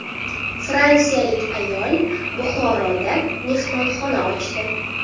Fransiyalik ayol Buxoroda mehmonxona ochdi.